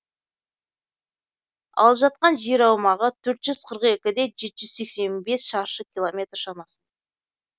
алып жатқан жер аумағы төрт жүз қырық екі де жеті жүз сексен бес шаршы километр шамасында